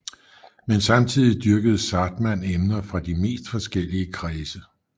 Men samtidigt dyrkede Zahrtmann emner fra de mest forskellige kredse